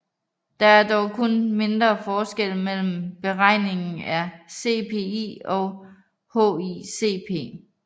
Der er dog kun mindre forskelle mellem beregningen af CPI og HICP